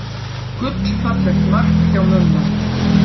Gullfallegt mark hjá Mumma.